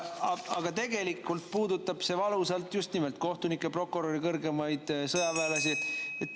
Aga tegelikult puudutab see valusalt just nimelt kohtunikke, prokuröre, kõrgemaid sõjaväelasi.